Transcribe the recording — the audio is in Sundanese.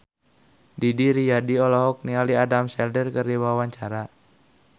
Didi Riyadi olohok ningali Adam Sandler keur diwawancara